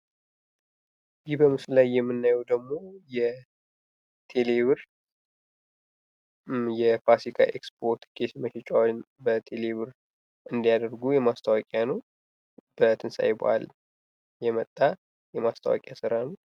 ይህ በምስሉ ላይ የምናየው ደግሞ የቴሌ ብር የፋሲካ ኤክስፖ ትኬት ምርጫዎን በ ቴሌብር እንዲያደርጉ ማስታወቂያ ነው። በትንሳኤ በአል የመጣ የማስታወቂያ ስራ ነው።